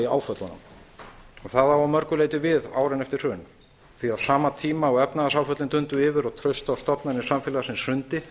í áföllunum það á að mörgu leyti við um árin eftir hrun því að á sama tíma og efnahagsáföllin dundu yfir og traust á stofnanir samfélagsins hrundi